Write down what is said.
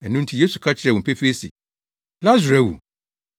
Ɛno nti Yesu ka kyerɛɛ wɔn pefee se, “Lasaro awu;